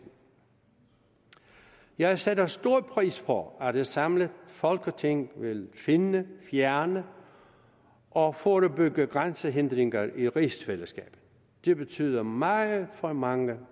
jeg sætter stor pris på at et samlet folketing vil finde fjerne og forebygge grænsehindringer i rigsfællesskabet det betyder meget for mange